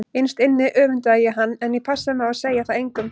Innst inni öfundaði ég hann en ég passaði mig á að segja það engum.